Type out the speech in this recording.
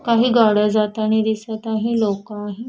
काही गाड्या जातानी दिसत आहे लोक आहे.